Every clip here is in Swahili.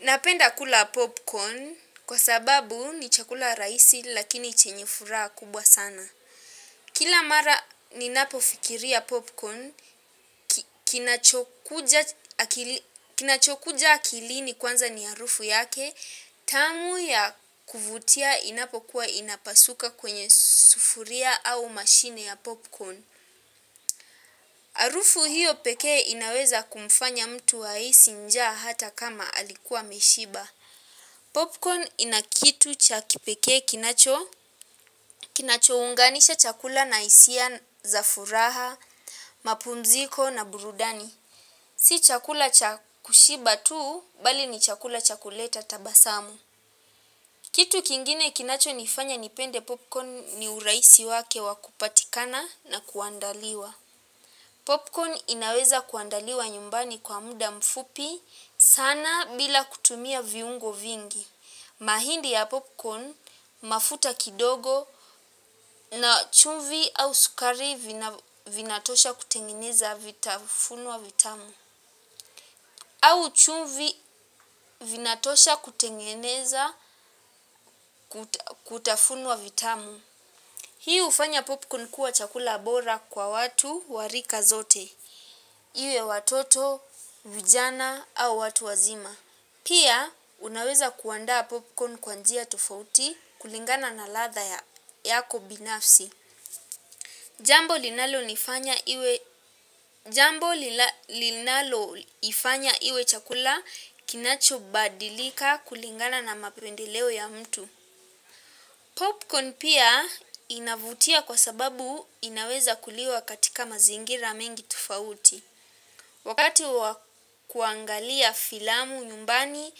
Napenda kula popcorn kwa sababu ni chakula rahisi lakini chenye furaha kubwa sana. Kila mara ninapo fikiria popcorn, ki kin kinachokuja akilini kwanza ni harufu yake, tamu ya kuvutia inapokuwa inapasuka kwenye sufuria au mashine ya popcorn. Harufu hiyo pekee inaweza kumfanya mtu ahisi njaa hata kama alikuwa ameshiba. Popcorn ina kitu cha kipekee kinacho. Kinacho unganisha chakula na hisia za furaha, mapumziko na burudani. Si chakula cha kushiba tuu, bali ni chakula cha kuleta tabasamu. Kitu kingine kinacho nifanya nipende popcorn ni urahisi wake wa kupatikana na kuandaliwa. Popcorn inaweza kuandaliwa nyumbani kwa muda mfupi sana bila kutumia viungo vingi. Mahindi ya popcorn mafuta kidogo na chumvi au sukari vina vinatosha kutengeneza vitafunwa vitamu au chumvi vinatosha kutengeneza kuta kutafunwa vitamu. Hii hufanya popcorn kuwa chakula bora kwa watu wa rika zote. Iwe watoto, vijana au watu wazima. Pia unaweza kuandaa popcorn kwa njia tofauti kulingana na ladha ya yako binafsi. Jambo linalonifanya iwe jambo lina linaloifanya iwe chakula kinachobadilika kulingana na mapendeleo ya mtu. Popcorn pia inavutia kwa sababu inaweza kuliwa katika mazingira mengi tofauti. Wakati wa kuangalia filamu nyumbani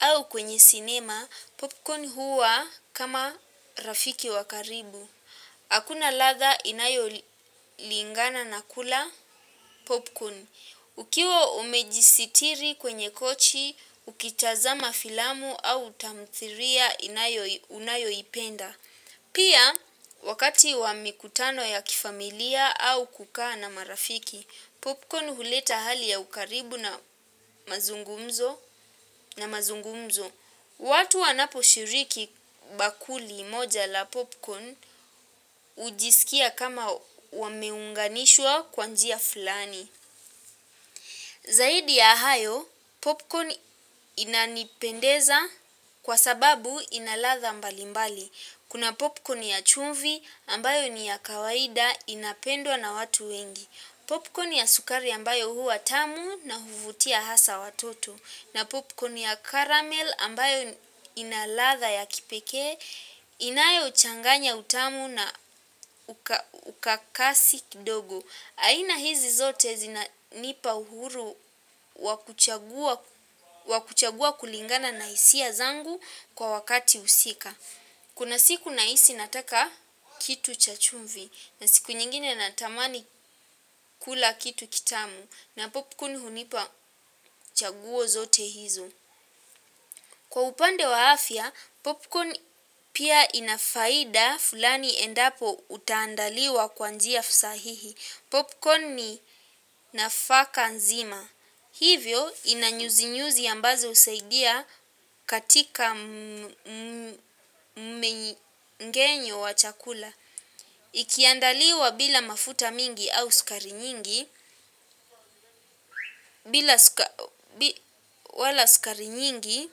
au kwenye sinema, popcorn huwa kama rafiki wakaribu. Hakuna ladha inayo li lingana na kula popcorn. Ukiwa umejisitiri kwenye kochi, ukitazama filamu au tamthiria inayo unayo ipenda. Pia, wakati wa mikutano ya kifamilia au kukaa na marafiki, popcorn huleta hali ya ukaribu na mazungumzo na mazungumzo. Watu wanapo shiriki bakuli moja la popcorn, hujisikia kama wameunganishwa kwa njia fulani. Zaidi ya hayo, popcorn inanipendeza kwa sababu ina ladha mbalimbali. Kuna popcorn ya chumvi ambayo ni ya kawaida inapendwa na watu wengi popcorn ya sukari ambayo huwa tamu na huvutia hasa watoto na popcorn ya caramell ambayo ina ladha ya kipekee. Inayo changanya utamu na uka ukakasi kidogo. Aina hizi zote zina nipa uhuru wakuchagua wa kuchagua kulingana na hisia zangu kwa wakati husika. Kuna siku nahisi nataka kitu cha chumvi na siku nyingine natamani kula kitu kitamu na popcorn hunipa chaguo zote hizo. Kwa upande wa afya, popcorn pia ina faida fulani endapo utaandaliwa kwa njia fusahihi. Popcorn ni nafaka nzima. Hivyo ina nyuzinyuzi ambazo husaidia katika mgenyo wa chakula. Ikiandaliwa bila mafuta mingi au sukari nyingi, bila suka bi wala sukari nyingi,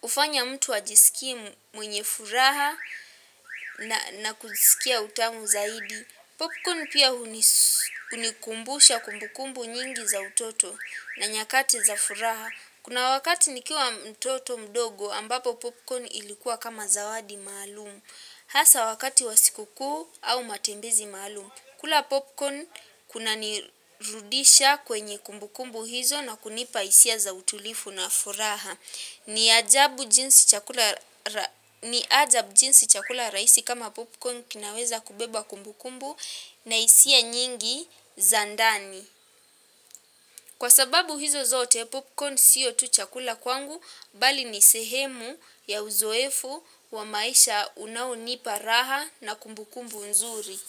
hufanya mtu ajisikie mwenye furaha na kusikia utamu zaidi. Popcorn pia hunis hunikumbusha kumbukumbu nyingi za utoto na nyakati za furaha. Kuna wakati nikiwa mtoto mdogo ambapo popcorn ilikuwa kama zawadi maalumu. Hasa wakati wa sikukuu au matembezi maalumu. Kula popcorn kuna nirudisha kwenye kumbukumbu hizo na kunipa hisia za utulifu na furaha. Ni ajabu jinsi chakula ra ni ajab jinsi chakula raihisi kama popcorn kinaweza kubeba kumbu kumbu na hisia nyingi za ndani. Kwa sababu hizo zote popcorn siyo tu chakula kwangu, bali ni sehemu ya uzoefu wa maisha unaonipa raha na kumbu kumbu nzuri.